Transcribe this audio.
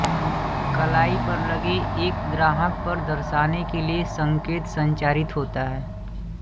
कलाई पर लगे एक ग्राहक पर दर्शाने के लिये संकेत संचरित होता है